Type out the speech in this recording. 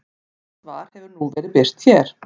Rétt svar hefur nú verið birt hér.